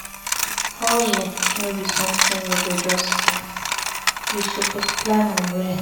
Hustle no be sometin you go just start, you suppose plan am well.